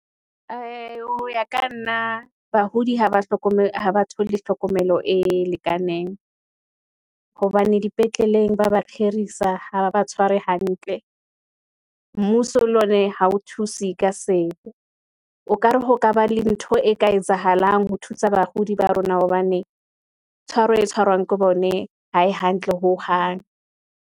Ho ya ka nna bahodi ha ba thole hlokomelo e lekaneng , hobane dipetleleng ba kgeisa, ha ba tshware hantle . Mmuso le ona ha o thuse ka sepe, o kare ho ka ba le ntho e ka etsahalang ho thusa bakudi ba rona, hobane tshwaro e tshwarwang ke bone ha e hantle hohang.